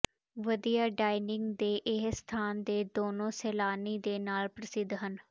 ਵਧੀਆ ਡਾਇਨਿੰਗ ਦੇ ਇਹ ਸਥਾਨ ਦੇ ਦੋਨੋ ਸੈਲਾਨੀ ਦੇ ਨਾਲ ਪ੍ਰਸਿੱਧ ਹਨ